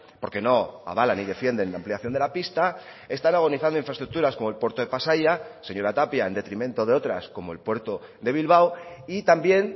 porque no avalan ni defienden la ampliación de la pista están agonizando infraestructuras como el puerto de pasaia señora tapia en detrimento de otras como el puerto de bilbao y también